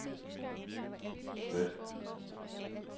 slet